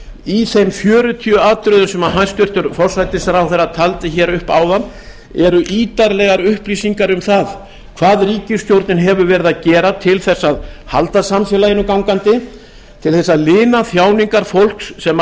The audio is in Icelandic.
í þeim fjörutíu atriðum sem hæstvirtur forsætisráðherra taldi hér upp áðan eru ítarlegar upplýsingar um það hvað ríkisstjórnin hefur verið að gera til þess að halda samfélaginu gangandi til þess að lina þjáningar fólks sem